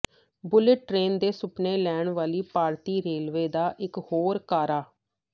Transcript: bullet train ਦੇ ਸੁਫਨੇ ਲੈਣ ਵਾਲੀ ਭਾਰਤੀ ਰੇਲਵੇ ਦਾ ਇੱਕ ਹੋਰ ਕਾਰਾ